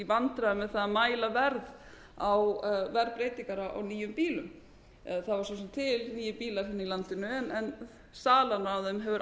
vandræðum með það að mæla verð á verðbreytingar á nýjum bílum það var svo sem til nýir bílar hérna í landinu en salan á þeim hefur